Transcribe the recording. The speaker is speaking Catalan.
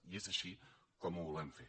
i és així com ho volem fer